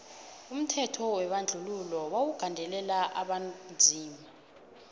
umthetho webandluhilo wawu gandelela abonzima